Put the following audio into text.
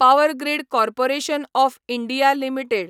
power Grid Corporation of India limited